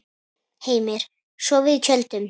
Heimir: Sofið í tjöldum?